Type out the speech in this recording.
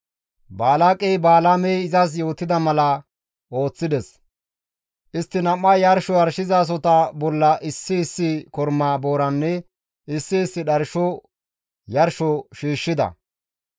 Balaaqey Balaamey izas yootida mala ooththides; istti nam7ay yarsho yarshizasohota bolla issi issi korma booranne issi issi dharsho yarsho shiishshida.